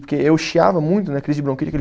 Porque eu chiava muito né, crise de bronquite, aquele